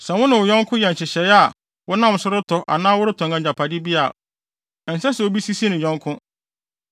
“ ‘Sɛ wo ne wo yɔnko yɛ nhyehyɛe a wonam so retɔ anaa woretɔn agyapade bi a, ɛnsɛ sɛ obi sisi ne yɔnko.